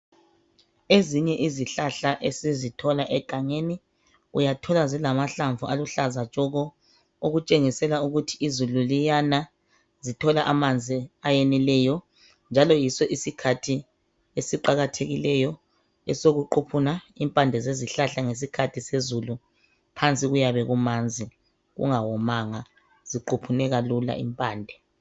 Ezinye izihlahla esizithola egangeni uyazithola zilama hlamvu aluhlaza tshoko okutshengisela ukuthi izulu liyana zithola amanzi akwanileyo njalo yiso isikhathi eziqakathekileyo esokuquphuna impande ngesikhathi sezulu phansi kuyabe kumanzi kungawomanga ziquphuneka lula impande.